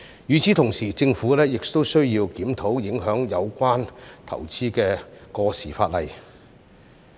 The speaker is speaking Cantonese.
與此同時，政府亦需要檢討影響有關投資的過時法例。